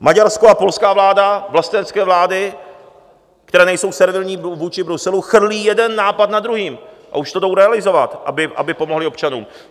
Maďarská a polská vláda, vlastenecké vlády, které nejsou servilní vůči Bruselu, chrlí jeden nápad za druhým a už to jdou realizovat, aby pomohly občanům.